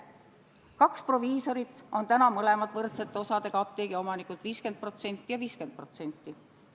Kaks proviisorit on täna mõlemad võrdsete osadega apteegiomanikud – 50% ja 50%.